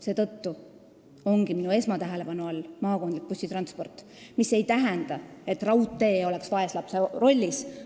Seetõttu ongi minu esmatähelepanu all maakondlik bussitransport, mis ei tähenda, nagu raudtee oleks vaeslapse rollis.